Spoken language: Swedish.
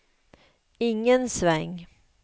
ingen sväng